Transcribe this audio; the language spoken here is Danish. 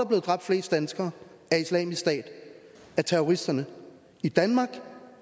blevet dræbt flest danskere af islamisk stat af terroristerne i danmark